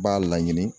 B'a laɲini